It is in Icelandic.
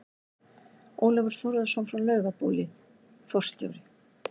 Ólafur Þórðarson frá Laugabóli, forstjóri